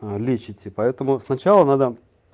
лечите поэтому сначала надо